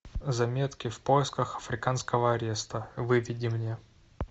заметки в поисках африканского ареста выведи мне